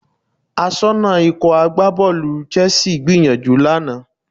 Aṣọ́nà Ikọ̀ agbábọ́ọ̀lù Chelsea gbìyànjú lánàá